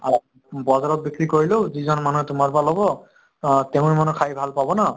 বজাৰত বিক্ৰি কৰিলেও নিজন মানুহে তুমাৰ পৰা লʼব, তেওঁৰ মʼনʼ খাই ভাল পাব ন?